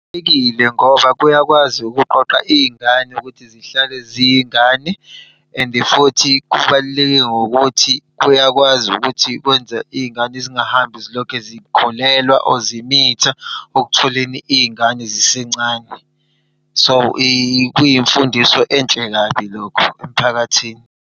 Kubalulekile ngoba kuyakwazi ukuqoqa iy'ngane ukuthi zihlale ziyingane and futhi kubaluleke ngokuthi kuyakwazi ukuthi kwenza iy'ngane zingahambi zilokhe zikholelwa or zimitha ekutholeni iy'ngane zisencane. So, kuyimfundiso enhle kabi lokho emphakathini.